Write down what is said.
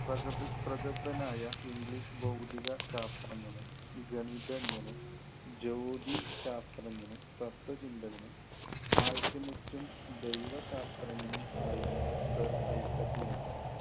പ്രഗല്‍~ പ്രഗല്‍ഭനായ english ഭൗതിക ശാസ്ത്രജ്ഞനും, ഗണിതജ്ഞനും, ജ്യോതിശാസ്ത്രജ്ഞനും, തത്വചിന്തകനും, alchemist, ദൈവശാസ്ത്രജ്ഞനും, ആയിരുന്നു sir ഐസക് ന്യൂട്ടൻ